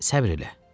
Səbr elə.